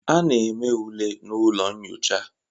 A na-eme ule na ụlọ nyocha.